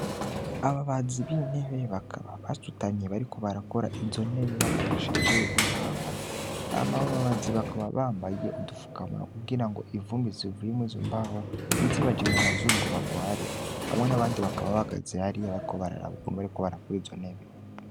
Ababazi b'intebe bakaba basutamye bariko izontebe bakoresheje imbaho. Hama abo babazi bakaba bambaye udufukamunwa kugira ivumbi zivuye mur'izombaho ntizibaje mumazuru ngo bagware. Hamwe n'abandi bagabo baba bahagaze hariya bariko bararaba ukuntu bariko barakora izontebe.